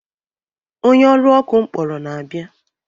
Onye ọrụ ọkụ m kpọrọ na-abịa.